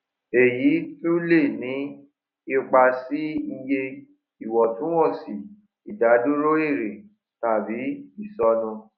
èyí tún lè ní ipa sí iye ìwọtúnwọsì ìdádúró èrè tàbí ìsọnù